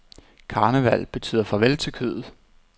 Karneval betyder farvel til kødet.